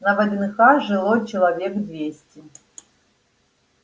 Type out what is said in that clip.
на вднх жило человек двести